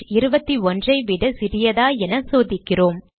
21 ஐ விட சிறியதா என சோதிக்கிறோம்